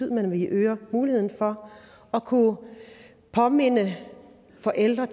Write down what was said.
man øger muligheden for at kunne påminde forældre